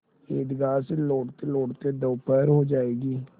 ईदगाह से लौटतेलौटते दोपहर हो जाएगी